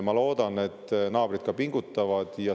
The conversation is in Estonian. Ma loodan, et naabrid ka pingutavad.